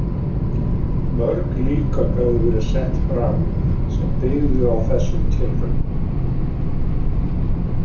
Mörg líkön höfðu verið sett fram sem byggðu á þessum tilraunum.